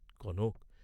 Kanak!